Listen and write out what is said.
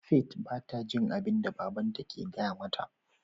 "Faith" bata jin abinda babanta ke gaya mata.